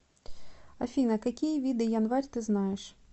афина какие виды январь ты знаешь